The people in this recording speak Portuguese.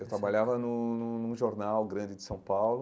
Eu trabalhava num num num jornal grande de São Paulo,